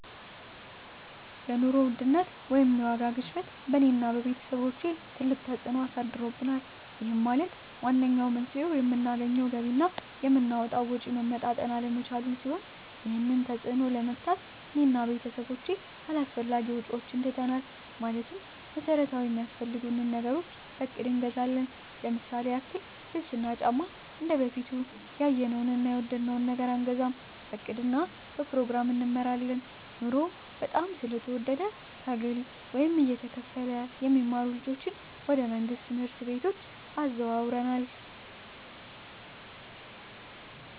የኑሮ ውድነት ወይም የዋጋ ግሽበት በእኔ እና በቤተሰቦቸ ትልቅ ተፅእኖ አሳድሮብናል ይህም ማለት ዋነኛው መንስኤው የምናገኘው ገቢ እና የምናወጣው ወጪ መመጣጠን አለመቻሉን ሲሆን ይህንን ተፅዕኖ ለመግታት እኔ እና ቤተሰቦቸ አላስፈላጊ ወጪዎችን ትተናል ማለትም መሠረታዊ ሚያስፈልጉንን ነገሮች በእቅድ እንገዛለን ለምሳሌ ያክል ልብስ እና ጫማ እንደበፊቱ ያየነውን እና የወደድነውን ነገር አንገዛም በእቅድ እና በፕሮግራም እንመራለን ኑሮው በጣም ስለተወደደ ከግለ ወይም እየተከፈለ የሚማሩ ልጆችን ወደ መንግሥት ትምህርት ቤቶች አዘዋውረናል